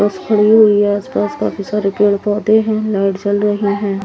बस खड़ी हुई है काफी सारे पेड़ पौधे है लाइट जल रही है।